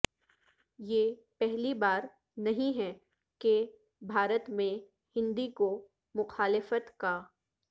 یہ پہلی بار نہیں ہے کہ بھارت میں ہندی کو مخالفت کا